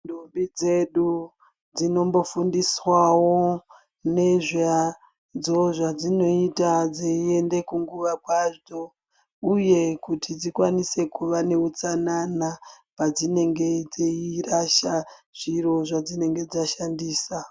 Ndombi dzedu dzinombofundiswawo nezvadzo zvadzinoita dzaienda kunguva kwadzo uye kuti dzikwanise kuva neutsanana padzinenge dzeirasha zviro zvadzinenge dzashandisa .